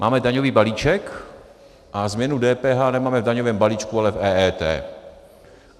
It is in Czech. Máme daňový balíček a změnu DPH nemáme v daňovém balíčku, ale v EET.